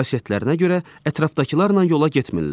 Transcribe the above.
Bu xüsusiyyətlərinə görə ətrafdakılarla yola getmirlər.